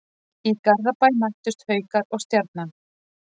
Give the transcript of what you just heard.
Í Garðabæ mættust Haukar og Stjarnan.